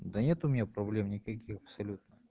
да нет у меня проблем никаких абсолютно